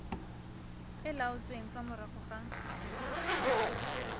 e laotsweng fa morago ga